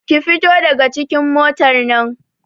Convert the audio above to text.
Ki fito daga cikin motar nan!